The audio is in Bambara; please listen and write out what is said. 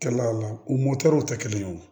Kɛla o la u mɔdɛliw tɛ kelen ye o